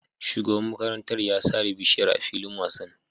Shugaban makarantar ya sare bishiyar a filin wasan